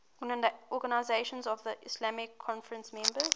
organisation of the islamic conference members